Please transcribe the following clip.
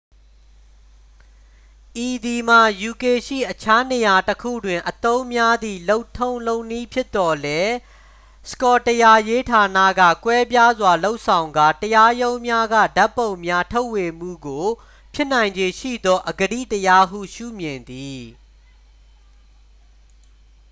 ဤသည်မှာ ယူကေရှိ အခြားနေရာတစ်ခုတွင် အသုံးများသည့် လုပ်ထုံးလုပ်နည်းဖြစ်သော်လည်း စကော့တရားရေးဌာနက ကွဲပြားစွာ လုပ်ဆောင်ကာ တရားရုံးများက ဓာတ်ပုံများ ထုတ်ဝေမှုကို ဖြစ်နိုင်ခြေရှိသော အဂတိတရားဟု ရှုမြင်သည်